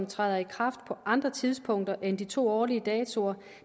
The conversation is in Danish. træder i kraft på andre tidspunkter end de to årlige datoer